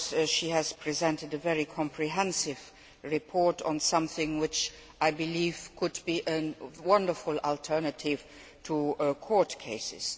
She has presented a very comprehensive report on something which I believe could be a wonderful alternative to court cases.